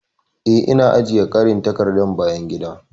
Ee, Ina ajiye ƙarin takardar bayan gida.